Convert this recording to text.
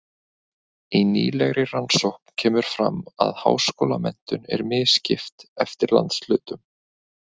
Í nýlegri rannsókn kemur fram að háskólamenntun er misskipt eftir landshlutum.